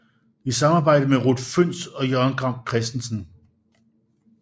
I samarbejde med Ruth Fønss og Jørgen Gram Christensen